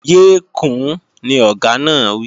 Yé kùún, ni Ọ̀gá náà wí!